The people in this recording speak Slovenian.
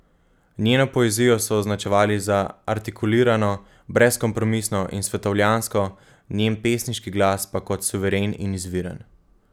Njeno poezijo so označevali za artikulirano, brezkompromisno in svetovljansko, njen pesniški glas pa kot suveren in izviren.